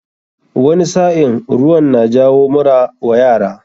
Wani sa'in ruwan na jawo mura wa yara.